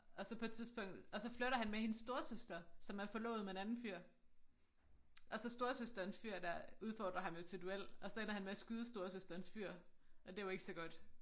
Og så på et tidspunkt og så flirter han med hendes storesøster som er forlovet med en anden fyr og så storesøsterens fyr dér udfordrer ham jo til duel og så ender han med at skyde storesøsterens fyr og det jo ikke så godt